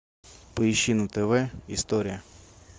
поищи на тв история